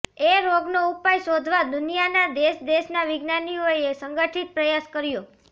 એ રોગનો ઉપાય શોધવા દુનિયાના દેશદેશના વિજ્ઞાનીઓએ સંગઠિત પ્રયાસ કર્યો